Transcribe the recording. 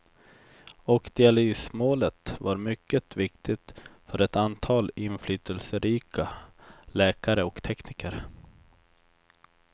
Och dialysmålet var mycket viktigt för ett antal inflytelserika läkare och tekniker.